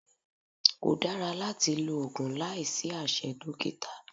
Kò dára láti lo oògùn láìsí àṣẹ dókítà